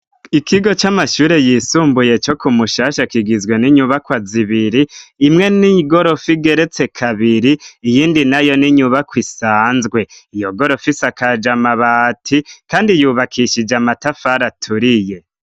Ikigo c'amashure y' isumbuye co kumushasha kigizwe n'inyubakwa zibiri, imwe n'igorof'igeretse kabiri, iyindi nayo n'inyubak' isanzwe, iyo gorof' isakaj' amabati kandi yubakishij' amatafar' aturiye, imbere y' inyubako har' ikibuga c'umusenyi.